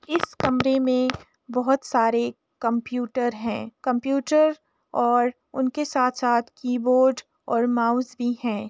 इस कमरे में बहोत सारे कंप्यूटर हैं। कंप्यूटर और उनके साथ-साथ कीबोर्ड और माउस भी हैं।